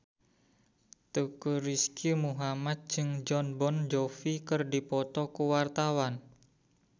Teuku Rizky Muhammad jeung Jon Bon Jovi keur dipoto ku wartawan